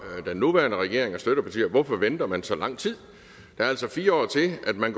den nuværende regering og støttepartier hvorfor venter man så lang tid der er altså fire år til at man